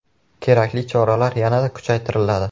Kerakli choralar yanada kuchaytiriladi.